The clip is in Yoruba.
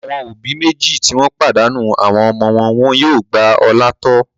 Àwọn òbí méjì tí wọ́n pàdánù àwọn ọmọ wọn yóò gba Ọlá tọ́.